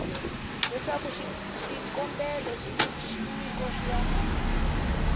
leswaku xikombelo xa nyiko ya